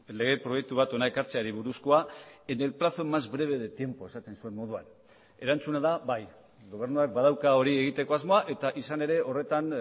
lege proiektu bat hona ekartzeari buruzkoa en el plazo más breve de tiempo esaten zuen moduan erantzuna da bai gobernuak badauka hori egiteko asmoa eta izan ere horretan